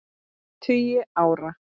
tugi ára.